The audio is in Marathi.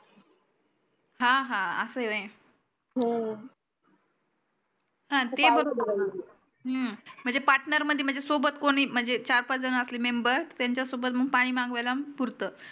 हा हा अस आहे व्हाय हा ते हम्म म्हणजे partner मध्ये म्हणजे सोबत कोणी म्हणजे चार पाच जन असले member त्यांच्या सोबत पानी मंगवायला पुरत